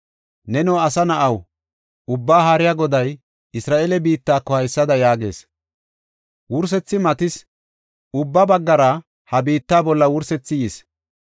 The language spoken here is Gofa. “Neno asa na7aw, Ubbaa Haariya Goday Isra7eele biittako haysada yaagees: ‘Wursethi matis; ubba baggara ha biitta bolla wursethi yis.